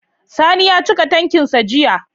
Sani ya cika tankin sa jiya